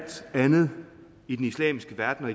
andet i den islamiske verden og